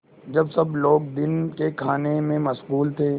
जब सब लोग दिन के खाने में मशगूल थे